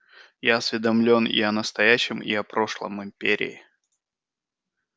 я осведомлен и о настоящем и о прошлом империи